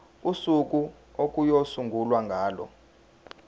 usuku okuyosungulwa ngalo